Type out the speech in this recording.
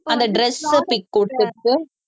அந்த dress உ pic குடுத்துட்டு